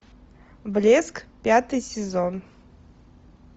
блеск пятый сезон